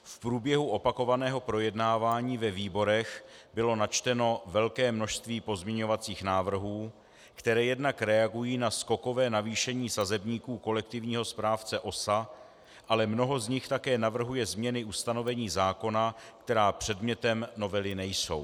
V průběhu opakovaného projednávání ve výborech bylo načteno velké množství pozměňovacích návrhů, které jednak reagují na skokové navýšení sazebníků kolektivního správce OSA, ale mnoho z nich také navrhuje změny ustanovení zákona, které předmětem novely nejsou.